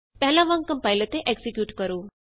ਪਹਿਲਾਂ ਵਾਂਗ ਕੰਪਾਇਲ ਅਤੇ ਐਕਜ਼ੀਕਿਯੂਟ ਕਰੋ